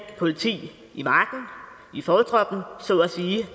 politi i marken i fortroppen så at sige